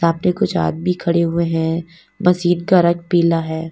सामने कुछ आदमी खड़े हुए हैं मशीन का रंग पीला है।